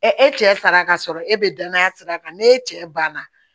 e cɛ saraka ka sɔrɔ e bɛ danaya sira kan n'e cɛ banna